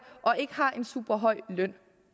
og ikke har en super høj løn